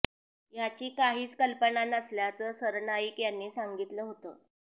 याची काहीच कल्पना नसल्याचं सरनाईक यांनी सांगितलं होतं